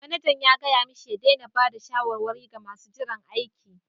Manajan ya gaya mashi ya daina ba da shawarwari ga masu jiran aiki.